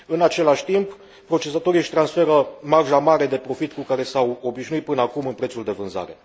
În același timp, procesatorii își transferă marja mare de profit cu care s au obișnuit până acum în prețul de vânzare.